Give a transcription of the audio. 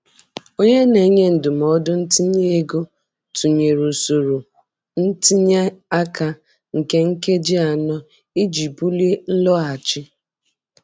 Onye na-enye ndụmọdụ ntinye ego tụnyere usoro ntinye aka nke nkeji anọ iji bulie nloghachi.